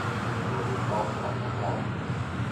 владислав асатрян